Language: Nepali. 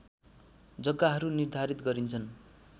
जग्गाहरू निर्धारित गरिन्छन्